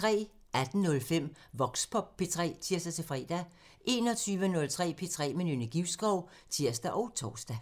18:05: Voxpop P3 (tir-fre) 21:03: P3 med Nynne Givskov (tir og tor)